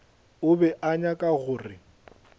o be a nyaka gore